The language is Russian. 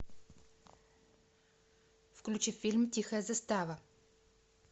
включи фильм тихая застава